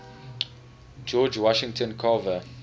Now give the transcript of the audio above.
george washington carver